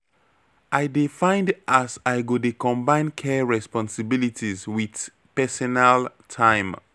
I dey find as I go dey combine care responsibilities wit personal time.